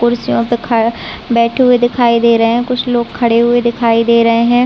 खुर्सी हैं तथा बैठे हुए दिखाई दे रहे है कुछ लोग खड़े हुए दिखाई दे रहे है।